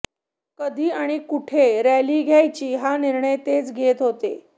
कधी आणि कुठे रॅली घ्यायची हा निर्णय तेच घेत होते